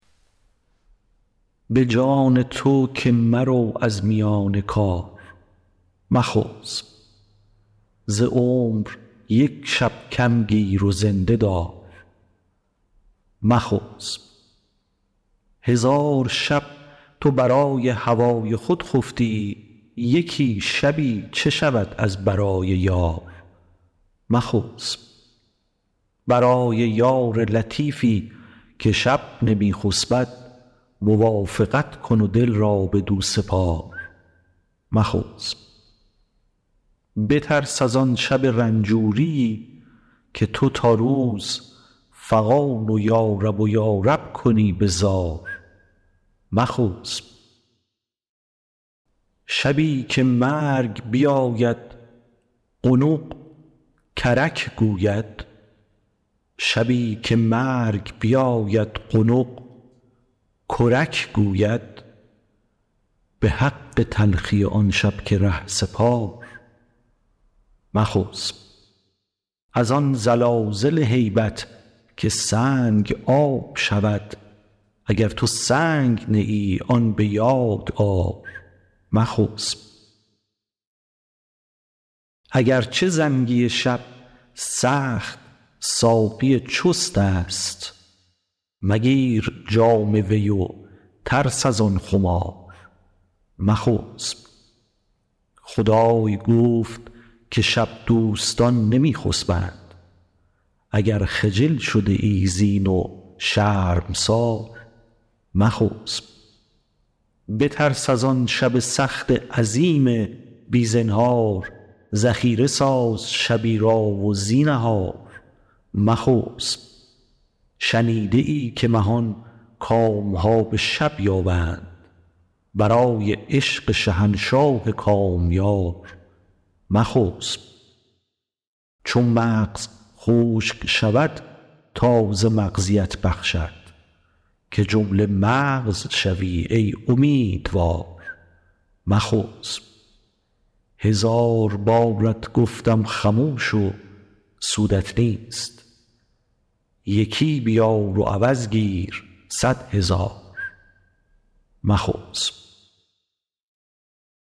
به جان تو که مرو از میان کار مخسب ز عمر یک شب کم گیر و زنده دار مخسب هزار شب تو برای هوای خود خفتی یکی شبی چه شود از برای یار مخسب برای یار لطیفی که شب نمی خسبد موافقت کن و دل را بدو سپار مخسب بترس از آن شب رنجوریی که تو تا روز فغان و یارب و یارب کنی به زار مخسب شبی که مرگ بیاید قنق کرک گوید به حق تلخی آن شب که ره سپار مخسب از آن زلازل هیبت که سنگ آب شود اگر تو سنگ نه ای آن به یاد آر مخسب اگر چه زنگی شب سخت ساقی چستست مگیر جام وی و ترس از آن خمار مخسب خدای گفت که شب دوستان نمی خسبند اگر خجل شده ای زین و شرمسار مخسب بترس از آن شب سخت عظیم بی زنهار ذخیره ساز شبی را و زینهار مخسب شنیده ای که مهان کام ها به شب یابند برای عشق شهنشاه کامیار مخسب چو مغز خشک شود تازه مغزیت بخشد که جمله مغز شوی ای امیدوار مخسب هزار بارت گفتم خموش و سودت نیست یکی بیار و عوض گیر صد هزار مخسب